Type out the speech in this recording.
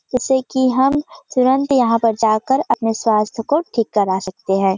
जैसे कि हम तुरंत यहां पर जाकर अपने स्वास्थ्य को ठीक करा सकते है।